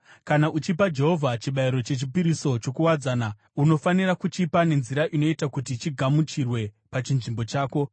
“ ‘Kana uchipa Jehovha chibayiro chechipiriso chokuwadzana, unofanira kuchipa nenzira inoita kuti chigamuchirwe pachinzvimbo chako.